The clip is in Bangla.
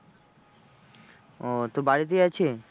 ও তোর বাড়িতেই আছে?